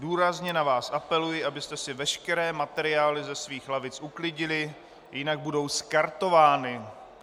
Důrazně na vás apeluji, abyste si veškeré materiály ze svých lavic uklidili, jinak budou skartovány.